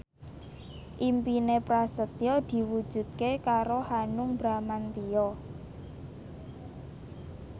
impine Prasetyo diwujudke karo Hanung Bramantyo